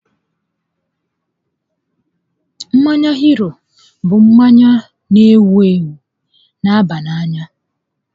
Mmanya hiri bụ mmanya n'ewu ewu n'aba n'anya